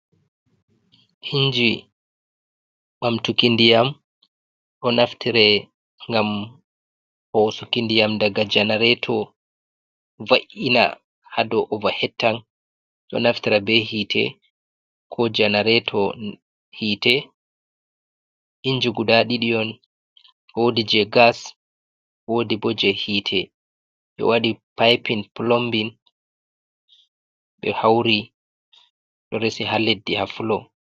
Inji bamtukindiyam o naftire gam hosukindiyam daga janareto va’’ina hado ovahettan, do naftira be hite ko janareto hite inji guda ɗidion wodi je gas wodi bo je hite bewadi pipin plombin be hauri do resi haleddi ha floor.